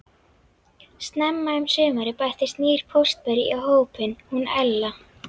Snemma um sumarið bættist nýr póstberi í hópinn, hún Ella.